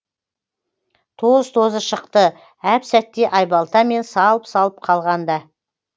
тоз тозы шықты әп сәтте айбалтамен салып салып қалғанда